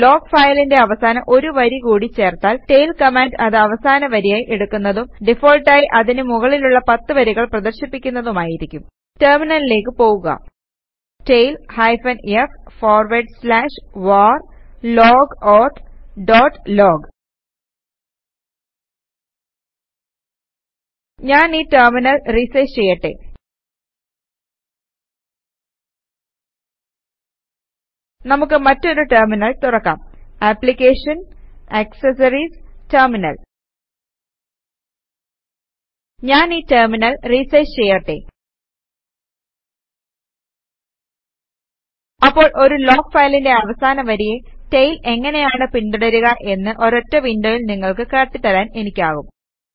log ഫയലിന്റെ അവസാനം ഒരു വരി കൂടി ചേർത്താൽ ടെയിൽ കമാൻഡ് അത് അവസാന വരിയായി എടുക്കുന്നതും ഡിഫാൾട്ടായി അതിനു മുകളിലുള്ള 10 വരികൾ പ്രദർശിപ്പിക്കുന്നതുമായിരിക്കും ടെർമിനലിലേക്ക് പോകുക tail hyphen f forward slash var log auth dot log ഞാൻ ഈ ടെർമിനൽ റിസൈസ് ചെയ്യട്ടെ നമുക്ക് മറ്റൊരു ടെർമിനൽ തുറക്കാം ആപ്ലിക്കേഷന് ജിടി ആക്സസറീസ് ജിടി ടെര്മിനൽ ഞാൻ ഈ ടെർമിനൽ റിസൈസ് ചെയ്യട്ടെ അപ്പോൾ ഒരു ലോഗ് ഫയലിന്റെ അവസാന വരിയെ ടെയിൽ എങ്ങനെയാണ് പിന്തുടരുക എന്ന് ഒരൊറ്റ വിന്ഡോയിൽ നിങ്ങൾക്ക് കാട്ടിത്തരാൻ എനിക്കാകും